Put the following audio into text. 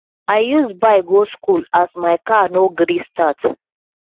i use bike go skool as my car no gree start